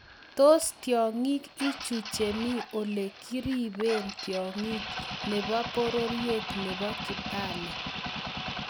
Tos tiongik ingicho chemi Ole kiribe tiongik nebo pororiet nebo Kibale?